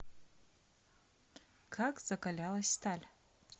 как закалялась сталь